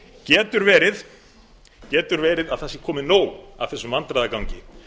því sambandi getur verið að það sé komið nóg af þessum vandræðagangi